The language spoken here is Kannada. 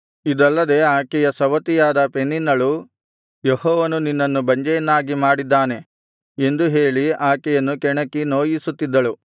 ಇದಲ್ಲದೆ ಆಕೆಯ ಸವತಿಯಾದ ಪೆನಿನ್ನಳು ಯೆಹೋವನು ನಿನ್ನನ್ನು ಬಂಜೆಯನ್ನಾಗಿ ಮಾಡಿದ್ದಾನೆ ಎಂದು ಹೇಳಿ ಆಕೆಯನ್ನು ಕೆಣಕಿ ನೋಯಿಸುತ್ತಿದ್ದಳು